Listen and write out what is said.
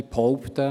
Ich behaupte: